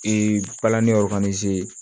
palanni